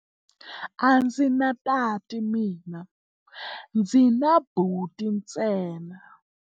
A ndzi na tati mina, ndzi na buti ntsena.